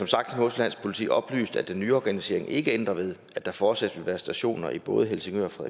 sagt har nordsjællands politi oplyst at den nye organisering ikke ændrer ved at der fortsat vil være stationer i både helsingør og